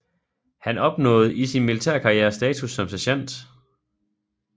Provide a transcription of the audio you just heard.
Han opnåede i sin militærkarriere status som sergent